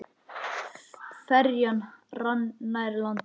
Ferjan rann nær landi.